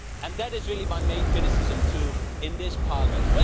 That is really my main criticism, too, in this Parliament.